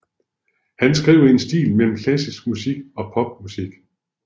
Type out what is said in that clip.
Han skriver i en stil mellem klassisk musik og pop musik